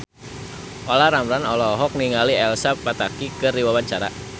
Olla Ramlan olohok ningali Elsa Pataky keur diwawancara